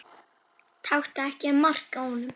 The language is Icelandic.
Taktu ekki mark á honum.